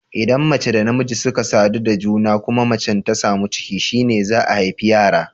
Idan mace da namiji suka sadu da juna, kuma macan ta samu ciki, shine za'a haifi yara.